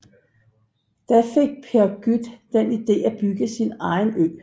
Da fik Per Gut den idé at bygge sin egen ø